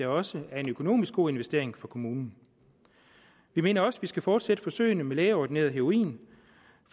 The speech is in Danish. også er en økonomisk god investering for kommunen vi mener også at vi skal fortsætte forsøgene med lægeordineret heroin